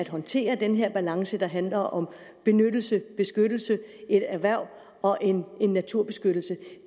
håndtere den her balance der handler om benyttelse beskyttelse et erhverv og en naturbeskyttelse